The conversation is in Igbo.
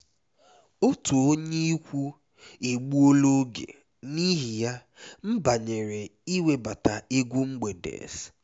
otu onye ikwu egbuola oge n'ihi ya m banyere iwebata egwu mgbede’s